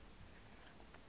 liviki